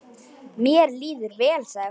Mér líður vel, sagði hún.